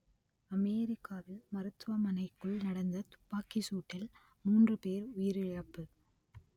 அமெரிக்காவில் மருத்துவமனைக்குள் நடந்த துப்பாக்கிச்சூட்டில் மூன்று பேர் உயிரிழப்பு